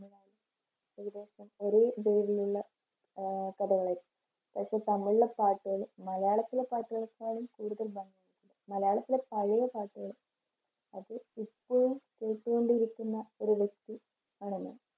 ഒരേ രീതിയിലുള്ള ആഹ് കഥകൾ പക്ഷേ തമിഴിലെ പാട്ടുകള് മലയാളത്തിലെ പാട്ടുകളെക്കാളും കൂടുതൽ ഭംഗിയുണ്ട് മലയാളത്തിലെ പഴയ പാട്ടുകള് അത് എപ്പോഴും കേട്ടുകൊണ്ടിരിക്കുന്ന ഒരു വ്യക്തി ആണ് ഞാൻ.